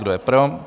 Kdo je pro?